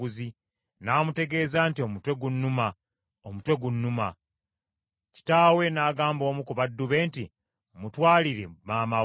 N’amutegeeza nti, “Omutwe gunnuma, omutwe gunnuma!” Kitaawe n’agamba omu ku baddu be nti, “Mutwalire maama we.”